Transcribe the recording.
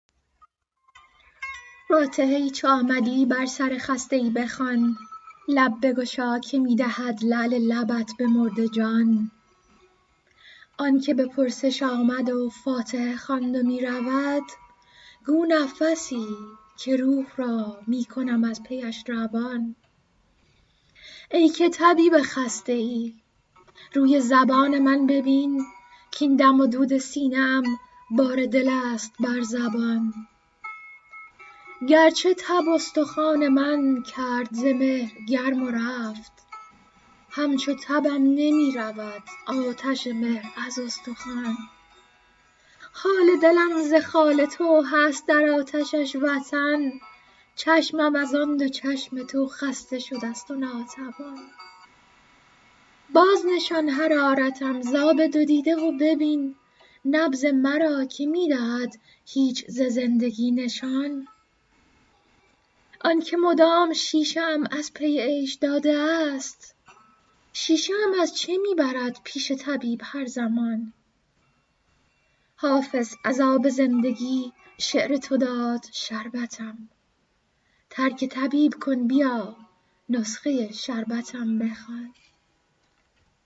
فاتحه ای چو آمدی بر سر خسته ای بخوان لب بگشا که می دهد لعل لبت به مرده جان آن که به پرسش آمد و فاتحه خواند و می رود گو نفسی که روح را می کنم از پیش روان ای که طبیب خسته ای روی زبان من ببین کـاین دم و دود سینه ام بار دل است بر زبان گرچه تب استخوان من کرد ز مهر گرم و رفت همچو تبم نمی رود آتش مهر از استخوان حال دلم ز خال تو هست در آتشش وطن چشمم از آن دو چشم تو خسته شده ست و ناتوان بازنشان حرارتم ز آب دو دیده و ببین نبض مرا که می دهد هیچ ز زندگی نشان آن که مدام شیشه ام از پی عیش داده است شیشه ام از چه می برد پیش طبیب هر زمان حافظ از آب زندگی شعر تو داد شربتم ترک طبیب کن بیا نسخه شربتم بخوان